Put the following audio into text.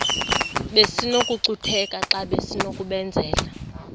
besinokucutheka xa besinokubenzela